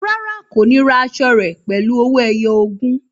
Rárá, kò ní ra aṣọ rẹ pẹ̀lú owó ẹyọ ogún